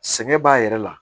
Sɛŋɛ b'a yɛrɛ la